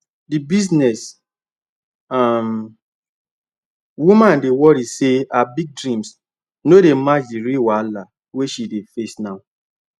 the business um woman dey worry say her big dreams no dey match the real wahala wey she dey face now